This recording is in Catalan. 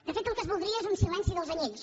de fet el que es voldria és un silenci dels anyells